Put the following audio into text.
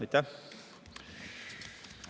Aitäh!